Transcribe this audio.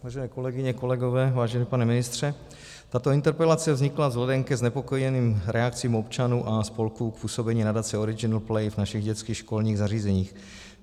Vážené kolegyně, kolegové, vážený pane ministře, tato interpelace vznikla vzhledem ke znepokojeným reakcím občanů a spolků k působení nadace Original Play v našich dětských školních zařízeních.